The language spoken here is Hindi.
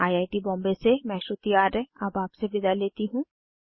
आई आई टी बॉम्बे से मैं श्रुति आर्य अब आपसे विदा लेती हूँ